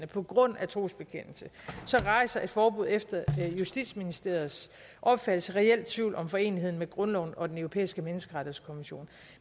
på grund af trosbekendelse rejser et forbud efter justitsministeriets opfattelse reel tvivl om foreneligheden med grundloven og den europæiske menneskerettighedskonvention